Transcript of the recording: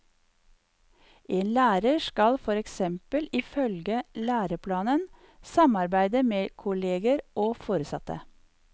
En lærer skal for eksempel ifølge læreplanen samarbeide med kolleger og foresatte.